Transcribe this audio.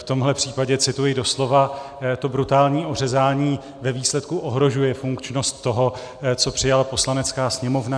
V tomhle případě cituji doslova, to brutální ořezání ve výsledku ohrožuje funkčnost toho, co přijala Poslanecká sněmovna.